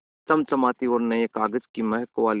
चमचमाती और नये कागज़ की महक वाली